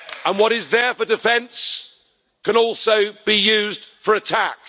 What is there for defence can also be used for attack.